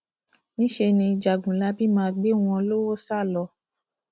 níṣẹ ni jagunlabi máa gbé wọn lọwọ sá lọ